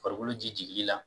Farikolo ji jigili la.